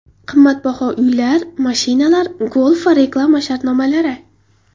Qimmatbaho uylar, mashinalar, golf va reklama shartnomalari.